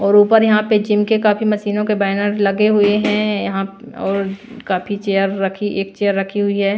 और ऊपर यहां पे जिम के काफी मशीनों के बैनर लगे हुए हैं यहां और काफी चेयर रखी एक चेयर रखी हुई है।